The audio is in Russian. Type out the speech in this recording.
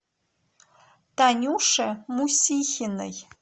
танюше мусихиной